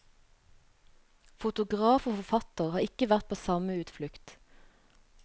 Fotograf og forfatter har ikke vært på samme utflukt.